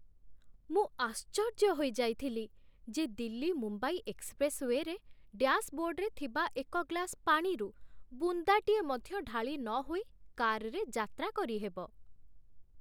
ମୁଁ ଆଶ୍ଚର୍ଯ୍ୟ ହୋଇଯାଇଥିଲି ଯେ ଦିଲ୍ଲୀ ମୁମ୍ବାଇ ଏକ୍ସପ୍ରେସ୍‌ରେ, ଡ୍ୟାସ୍‌ବୋର୍ଡ୍‌ରେ ଥିବା ଏକ ଗ୍ଲାସ୍ ପାଣିରୁ ବୁନ୍ଦାଟିଏ ମଧ୍ୟ ଢାଳି ନହୋଇ, କାର୍‌ରେ ଯାତ୍ରା କରିହେବ।